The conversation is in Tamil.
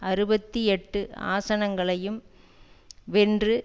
அறுபத்தி எட்டு ஆசனங்களையும் வென்று